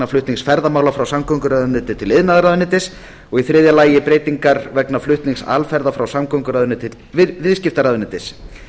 flutnings ferðamála frá samgönguráðuneyti til iðnaðarráðuneytis og í þriðja lagi breytingar vegna flutnings alferða frá samgönguráðuneyti til viðskiptaráðuneytis